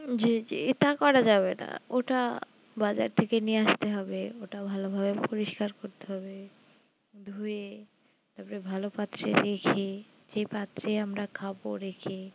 জি জি এটা করা যাবে না ওটা বাজার থেকে নিয়ে আস্তে হবে ওটা ভালো ভাবে পরিষ্কার করতে হবে ধুয়ে তার পর ভালো পাত্রে রেখে যে পাত্রে আমরা খাবো রেখে